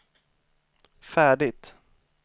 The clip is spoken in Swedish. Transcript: färdigt